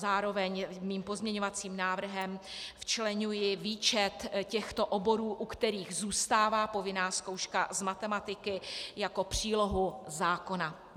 Zároveň svým pozměňovacím návrhem včleňuji výčet těchto oborů, u kterých zůstává povinná zkouška z matematiky, jako přílohu zákona.